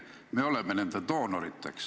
Me oleme rikkamatele riikidele doonoriteks.